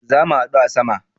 Zamu hadu a sama